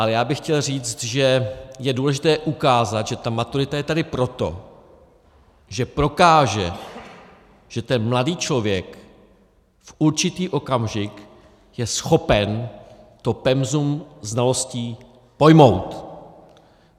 Ale já bych chtěl říct, že je důležité ukázat, že ta maturita je tady proto, že prokáže, že ten mladý člověk v určitý okamžik je schopen to penzum znalostí pojmout.